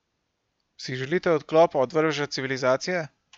Si želite odklopa od vrveža civilizacije?